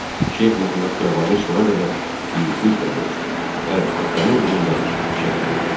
Şeyx Məhəmməd Xiyabani sona qədər igidliklə vuruşdu və vətəni uğrunda şəhid oldu.